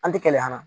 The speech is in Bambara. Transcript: An tɛ kɛlɛ an na